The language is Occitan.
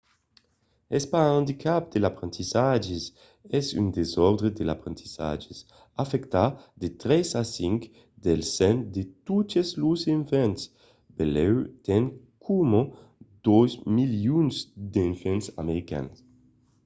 es pas un andicap de l’aprendissatge es un desòrdre de l'aprendissatge; afècta de 3 a 5 del cent de totes los enfants benlèu tant coma 2 milions d’enfants americans